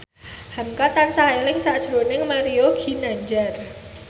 hamka tansah eling sakjroning Mario Ginanjar